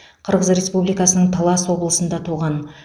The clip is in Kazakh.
қырғыз республикасының талас облысында туған